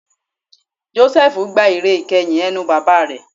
Jósẹ́fù gba ìre ìkeyìn ẹnu bàbá rẹ̀